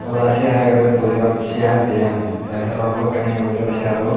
oda sey hai agedey seyar diyan tey aro balokkani agey bujibar seyaro.